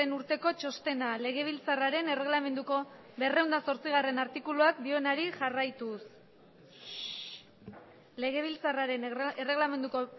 urteko txostena legebiltzarraren erregelamenduko berrehun eta zortzigarrena artikuluak dioenari jarraituz legebiltzarraren erregelamenduko